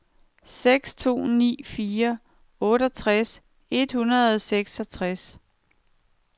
seks to ni fire otteogtres et hundrede og seksogtres